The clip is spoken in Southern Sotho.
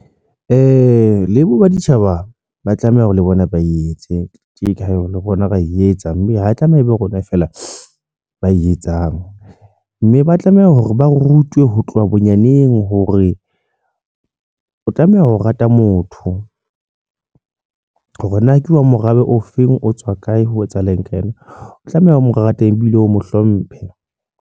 Le bo baditjhaba ba tlameha hore le bona ba etse tje ka rona ra e etsang mme ho tlameha ebe rona feela ba e etsang mme ba tlameha hore ba rutwe ho tloha bonyaneng hore o tlameha ho rata motho hore na ke wa morabe o feng, o tswa kae, ho etsahala eng ka yena o tlameha o mo rate ebile o mo hlomphe.